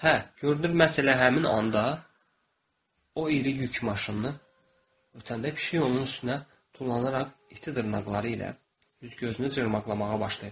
Hə, görünür məhz elə həmin anda o iri yük maşınını ötəndə pişik onun üstünə tullanaraq iti dırnaqları ilə üz gözünü cırmaqlamağa başlayır.